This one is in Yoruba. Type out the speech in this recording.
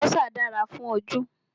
Àlùbọ́sà dára fún ojú